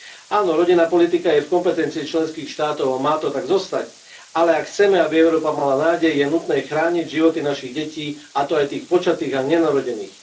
Áno, rodinná politika je v kompetencií členských štátov a má to tak zostať, ale ak chceme aby Európa mala nádej, je nutné chrániť životy našich detí, a to aj tých počatých a nenarodených.